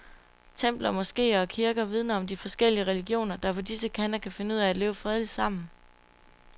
Templer, moskeer og kirker vidner om de forskellige religioner, der på disse kanter kan finde ud af at leve fredeligt sammen.